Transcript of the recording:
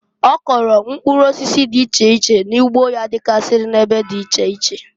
Ọ kụlụ mkpụrụ osisi di iche iche n'ugbo ya digasi n'ebe di iche iche.